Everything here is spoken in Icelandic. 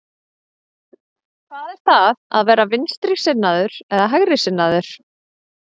Hvað er það að vera vinstrisinnaður eða hægrisinnaður?